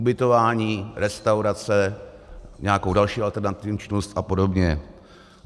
Ubytování, restaurace, nějakou další alternativní činnost a podobně.